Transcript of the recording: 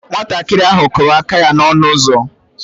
Nwatakịrị ahụ kụrụ aka ya n'ọnụ ụzọ